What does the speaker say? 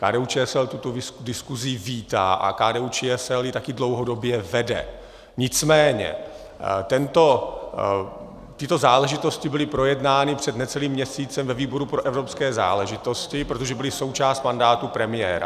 KDU-ČSL tuto diskusi vítá a KDU-ČSL ji také dlouhodobě vede, nicméně tyto záležitosti byly projednány před necelým měsícem ve výboru pro evropské záležitosti, protože byly součástí mandátu premiéra.